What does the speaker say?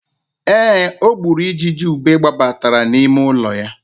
Ee, o gburu ijiji ube gbabatara n'ime ụlọ ya.